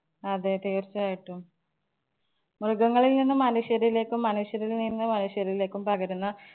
അതെ തീര്‍ച്ചയായിട്ടും. മൃഗങ്ങളില്‍ നിന്നും മനുഷ്യരിലേക്കും മനുഷ്യരില്‍ നിന്ന് മനുഷ്യരിലേക്കും പകരുന്ന